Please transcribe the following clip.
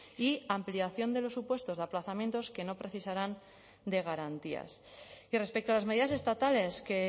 y ampliación de los supuestos de aplazamientos que no precisarán de garantías y respecto a las medidas estatales que